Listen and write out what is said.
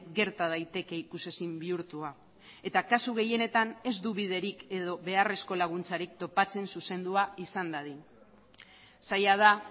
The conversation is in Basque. gerta daiteke ikusezin bihurtua eta kasu gehienetan ez du biderik edo beharrezko laguntzarik topatzen zuzendua izan dadin zaila da